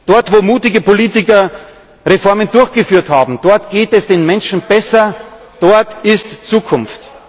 Dort, wo mutige Politiker Reformen durchgeführt haben, geht es den Menschen besser, dort ist Zukunft.